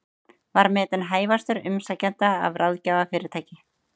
Var metinn hæfastur umsækjenda af ráðgjafarfyrirtæki